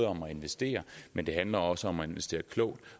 om at investere men det handler også om at investere klogt